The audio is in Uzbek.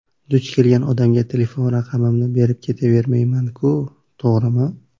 Duch kelgan odamga telefon raqamimni berib ketavermayman-ku, to‘g‘rimi?!